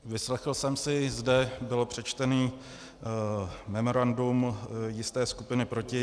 Vyslechl jsem si, zde bylo přečteno memorandum jisté skupiny proti.